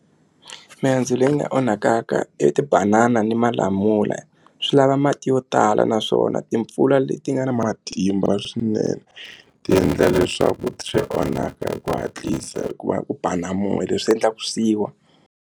Mihandzu leyi nga onhakaka i tibanana ni malamula swi lava mati yo tala naswona timpfula leti nga na matimba swinene ti endla leswaku swi onhaka hi ku hatlisa hikuva ku ba na moya leswi endlaku swi wa.